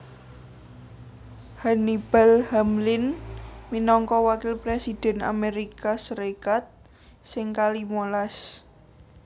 Hannibal Hamlin minangka Wakil Presidhèn Amérika Sarékat sing kalimo las